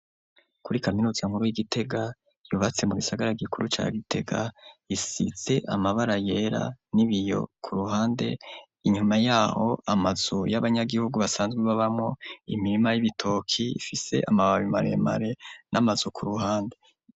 Kuri kaminuza nkuru y'Igitega yubatse mu gisagara gikuru ca Gitega, isize amabara yera n'ibiyo ku ruhande, inyuma y'aho amazu y'abanyagihugu basanzwe babamwo, imirima y'ibitoke ifise amababi maremare n'amazu ku ruhande.